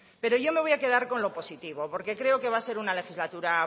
pero yo me voy a quedar con lo positivo porque creo que va a ser una legislatura